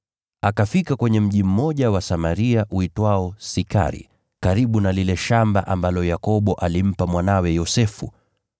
Akafika kwenye mji mmoja wa Samaria uitwao Sikari, karibu na lile shamba ambalo Yakobo alimpa mwanawe Yosefu.